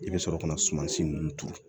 I bɛ sɔrɔ ka na sumansi ninnu turu